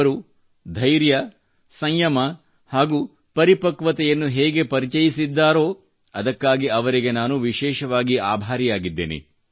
ಅವರು ಧೈರ್ಯ ಸಂಯಮ ಹಾಗೂ ಪರಿಪಕ್ವತೆಯನ್ನು ಹೇಗೆ ಪರಿಚಯಿಸಿದ್ದಾರೋ ಅದಕ್ಕಾಗಿ ಅವರಿಗೆ ನಾನು ವಿಶೇಷವಾಗಿ ಆಭಾರಿಯಾಗಿದ್ದೇನೆ